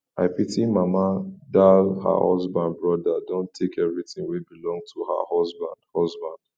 i pity mama dal her husband brother don take everything wey belong to her husband husband